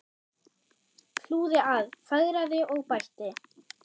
Hlúði að, fegraði og bætti.